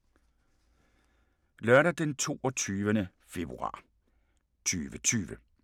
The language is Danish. Lørdag d. 22. februar 2020